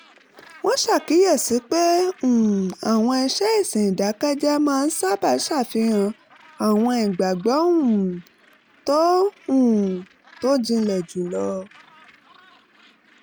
wọ́n ṣàkíyèsi pé um àwọn iṣẹ́ ìsìn ìdàkẹ́jẹ́ máa ń sábà ṣàfihàn àwọn ìgbàgbọ́ um tó um tó jinlẹ̀ jù lọ